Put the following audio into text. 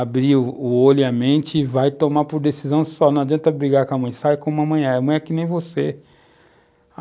abrir o olho e a mente e vai tomar por decisão só, não adianta brigar com a mãe, sai com a mamãe, a mãe é que nem você.